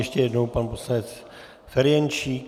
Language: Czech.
Ještě jednou pan poslanec Ferjenčík.